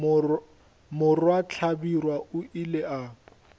morwa hlabirwa o ile a